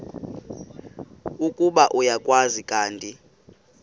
ukuba uyakwazi kanti